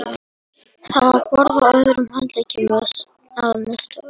Það var borði á öðrum handleggnum með stöfunum